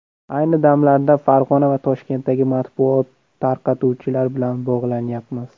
Ayni damlarda Farg‘ona va Toshkentdagi matbuot tarqatuvchilar bilan bog‘lanyapmiz.